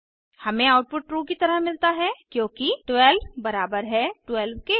हमें output true की तरह मिलता है क्योंकि 12 बराबर है 12 के